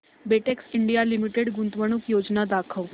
Betex India limited गुंतवणूक योजना दाखव